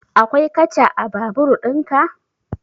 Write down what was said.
Akwai katcha a babur ɗin ka?